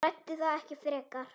Ræddi það ekki frekar.